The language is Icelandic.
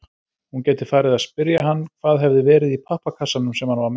Hún gæti farið að spyrja hann hvað hefði verið í pappakassanum sem hann var með.